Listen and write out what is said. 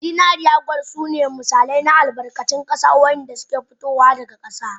Zinariya, kwal da tama na ƙarfe sune misalai na albarkatun ƙasa waɗanda ke fitowa daga ƙasa.